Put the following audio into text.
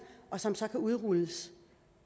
og som så kan udrulles